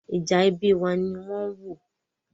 Ìjà ẹbí wa ni wọ́n ń wò.